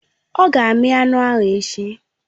Ọ ga-amí anụ echi